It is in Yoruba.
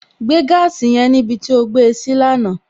Gbé gaasi yẹn níbi tí ó gbé e sí lánàá!